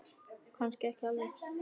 Kannski ekki alveg.